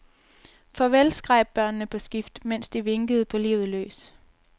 Farvel, skreg børnene på skift, mens de vinkede på livet løs.